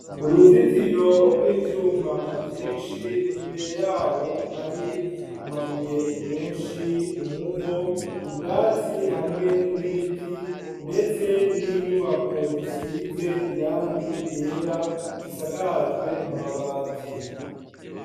Uruzitiro rw'ivyuma vyinshi, imbere y'aho, hari amabuye menshi, umuvo, ubwatsi hamwe n'ibiti, ndetse n'inyubako zisize irangi ryera, zisakajwe amabati.